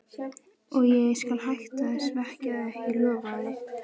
Og ég skal hætta að svekkja þig, ég lofa því.